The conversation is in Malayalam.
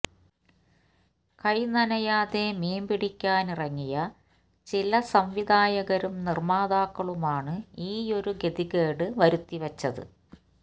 കൈ നനയാതെ മീന്പിടിക്കാനിറങ്ങിയ ചില സംവിധായകരും നിര്മാതാക്കളുമാണ് ഈയൊരു ഗതികേട് വരുത്തിവച്ചത്